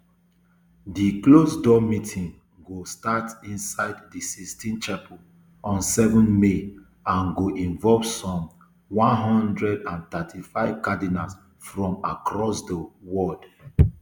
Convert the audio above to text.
di closeddoor meeting go start inside di sistine chapel on seven may and go involve some one hundred and thirty-five cardinals from across di world